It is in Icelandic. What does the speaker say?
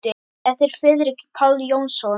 eftir Friðrik Pál Jónsson